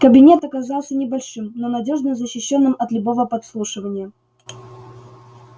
кабинет оказался небольшим но надёжно защищённым от любого подслушивания